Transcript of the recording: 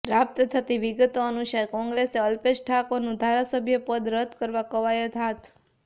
પ્રાપ્ત થતી વિગતો અનુસાર કોંગ્રેસે અલ્પેશ ઠાકોરનું ધારાસભ્ય પદ રદ કરવા કવાયત હાથ